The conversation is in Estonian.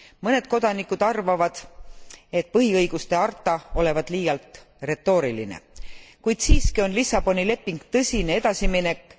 Mõned kodanikud arvavad, et põhiõiguste harta olevat liialt retooriline, kuid siiski on Lissaboni leping tõsine edasiminek.